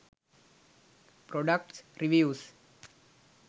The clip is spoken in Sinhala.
products reviews